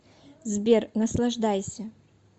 сбер наслаждайся